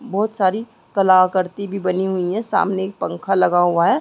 बहुत सारी कलाकरती भी बनी हुई है सामने एक पंखा लगा हुआ है